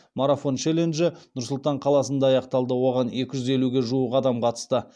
марафон челленджі нұр сұлтан қаласында аяқталды оған екі жүз елуге жуық адам қатысты